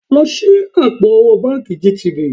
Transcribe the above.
Lọ ṣí àpò owó báǹkì GTB